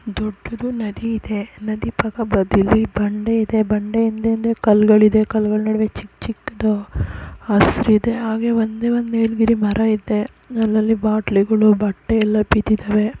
ದೊಡ್ಡುದು ನದಿಯಿದೆ ನದಿ ಪಕ್ಕದಲ್ಲಿ ಬಂಡೆಯಿದೆ ಬಂಡೆಯಿಂದೆ ಕಲ್ಲುಗಳು ಇದೆ ಕಲ್ಲುಗಳ ನಡುವೆ ಚಿಕ್ಕ ಚಿಕ್ದು ಹಸ್ರ್ ಇದೆ ಒಂದೇ ಒಂದು ನೀಲಗಿರಿ ಮರೈತೆ ಅಲಲ್ಲಿ ಬಾಟಲ್ ಗಳು ಬಟ್ಟೆ ಎಲ್ಲ ಬಿದ್ದಿದವೇ.